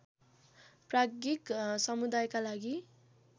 प्राज्ञिक समुदायका लागि